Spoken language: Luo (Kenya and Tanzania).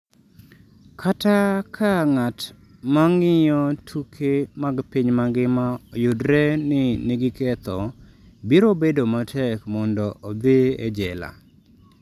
Kata ka ng’at ma ng’iyo tuke mag piny mangima oyudre ni nigi ketho, biro bedo matek mondo odhi e jela.